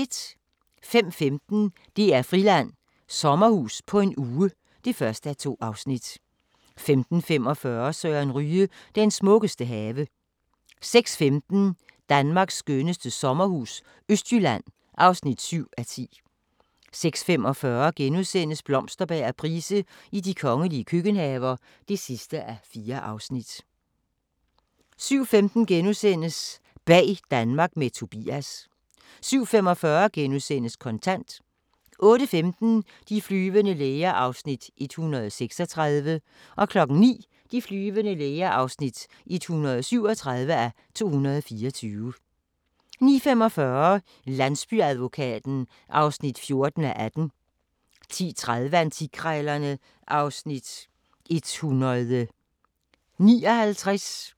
05:15: DR-Friland: Sommerhus på en uge (1:2) 05:45: Søren Ryge – den smukkeste have 06:15: Danmarks skønneste sommerhus - Østjylland (7:10) 06:45: Blomsterberg og Price i de kongelige køkkenhaver (4:4)* 07:15: Bag Danmark med Tobias * 07:45: Kontant * 08:15: De flyvende læger (136:224) 09:00: De flyvende læger (137:224) 09:45: Landsbyadvokaten (14:18) 10:30: Antikkrejlerne (Afs. 159)